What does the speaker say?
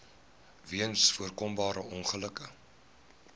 weens voorkombare ongelukke